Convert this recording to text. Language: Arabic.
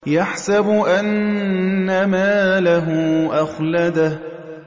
يَحْسَبُ أَنَّ مَالَهُ أَخْلَدَهُ